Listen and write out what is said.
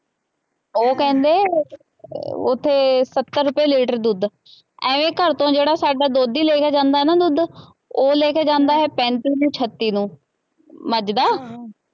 ਉਹ ਕਹਿੰਦੇ ਉੱਥੇ ਸੱਤਰ ਰੁਪਏ ਲੀਟਰ ਦੁੱਧ, ਐਵੇਂ ਘਰ ਤੋਂ ਜਿਹੜਾ ਸਾਡਾ ਦੋਧੀ ਲੈ ਕੇ ਜਾਂਦਾ ਨਾ ਦੁੱਧ, ਉਹ ਲੈ ਕੇ ਜਾਂਦਾ ਹੈ ਪੈਂਤੀ ਕਿ ਛੱਤੀ ਨੂੰ, ਮੱਝ ਦਾ